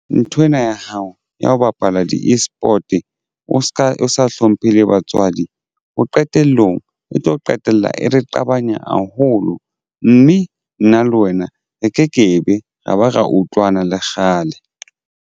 Nthwena ya hao ya ho bapala di-eSport o se ka o sa hlomphe le batswadi o qetellong o tlo qetella re qabanya haholo mme nna le wena re ke kebe ra ba ra utlwana le kgale.